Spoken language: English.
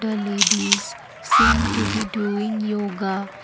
ladies seem to be doing yoga.